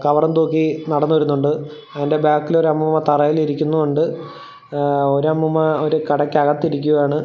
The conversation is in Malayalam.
കവറും തൂക്കി നടന്ന് വരുന്നുണ്ട് അതിൻ്റെ ബാക്കില് ഒര് അമ്മൂമ്മ തറയിൽ ഇരിക്കുന്നും ഉണ്ട് എഹ്‌ ഒരമ്മൂമ്മ ഒരു കടക്കകത്ത് ഇരിക്കുകയാണ്.